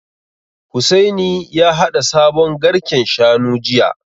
Hussaini ya haɗa sabon garken Shanu jiya